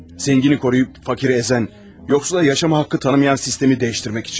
Zəngini qoruyub fakiri əzən, yoxsula yaşama haqqı tanımayan sistemi dəyişdirmək üçün.